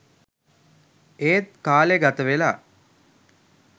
එත් කාලේ ගතවෙලා